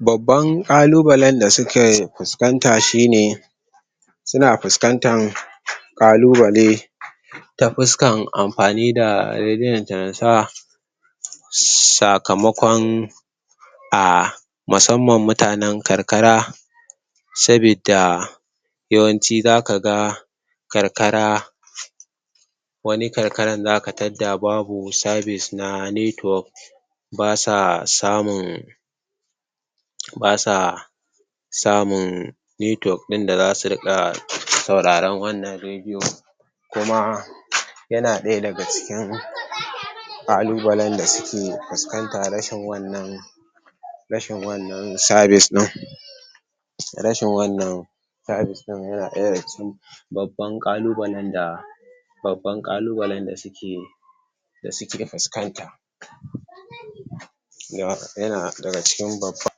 Babban ƙalubalen da suke fuskanta shine suna fuskantan ƙalubale ta fuskan amfani da sakamakon a musamman mutanen karkara sabida yawanci zakaga karkara wani karkaran zaka tadda babu sabis (service) na network basa samun basa samun network ɗin da zasu riƙa sauraron wannan rediyo kuma yana ɗaya daga cikin ƙalubalen da suke fuskanta rashin wannan rashin wannan sabis din. Rashin wannan sabis ɗin yana ɗaya daga cikin babban ƙalubalen da babban ƙalubalen da suke da suke fuskanta. Yana daga cikin babban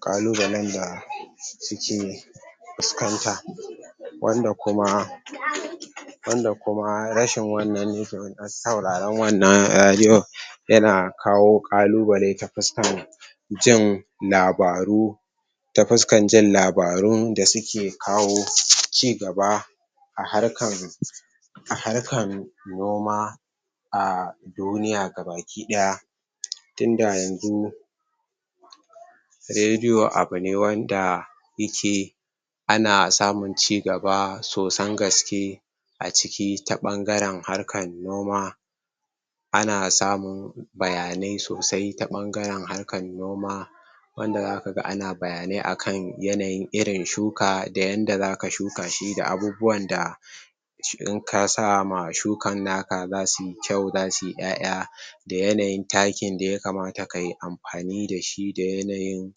ƙalubalen da suke fuskanta wanda kuma wanda kuma rashin wannan network na suraron wannan rediyo yana kawo ƙalubale ta fuskan jin labaru ta fuskan jin labarun da suke kawo ci gaba a harkan a harkan noma a duniya gabaki ɗaya. Tunda yanzu rediyo abune wanda yake ana samun cigaba sosan gaske a ciki ta ɓangaren harkan noma ana samun bayanai sosai ta ɓangaren harkan noma wanda zakaga ana bayanai akan yanayin irin shuka da yanda zaka shuka shi da abubuwan da inka sama shukan naka zasuyi kyau zasuyi ƴaƴa da yanayin takin da ya kamata kayi amfani dashi da yanayin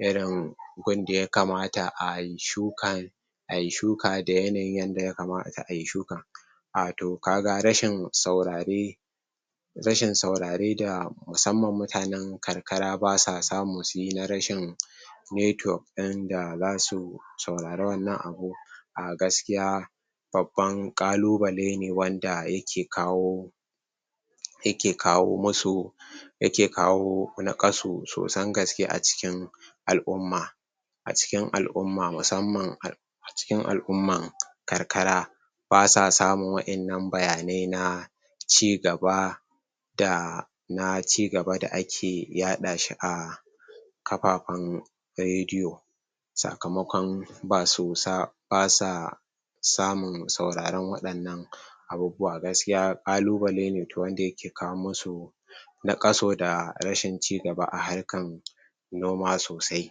irin gun da yakamata ayi shukan ayi shuka da yanayin yanda ya kamata ayi shukan. Wato kaga rashin saurare rashin saurare da musamman mutanan karkara basa samu suyi na rashin network din da zasu saurara wannan abu a gaskiya babban ƙalubale ne wanda yake kawo yake kawo musu yake kawo naƙasu sosan gaske a cikin al'umma a cikin al'umma musamman a a cikin al'umman karkara basa samun wa'innan bayanai na ci gaba da na cigaba da ake yaɗa shi a kafafen rediyo. Sakamakon basu sa basa samun sauraron waɗannan abubuwa. Gaskiya ƙalubale ne wanda yake kawo masu naƙasu da rashin ci gaba a harkan noma sosai.